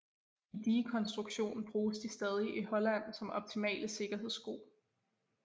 I digekonstruktion bruges de stadig i Holland som optimale sikkerhedsko